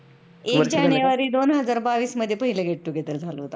एक जानेवारी दोन हजार बावीस मध्ये पहिल get together झाल होत आमचं